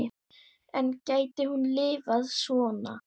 En gæti hún lifað svona?